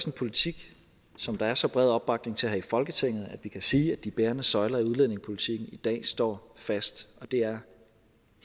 en politik som der er så bred opbakning til her i folketinget at vi kan sige at de bærende søjler i udlændingepolitikken i dag står fast det er